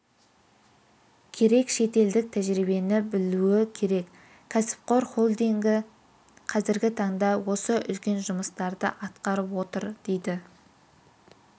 керек шетелдік тәжірибені білуі керек кәсіпқор холдингі қазіргі таңда осы үлкен жұмыстарды атқарып отыр дейді